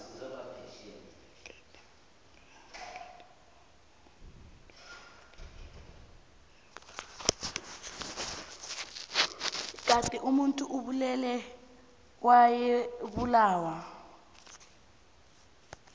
kade omuntu obulele wayebulawa